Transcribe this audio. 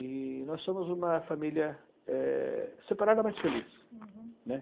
E nós somos uma família é, separada, mas feliz. Uhum. né?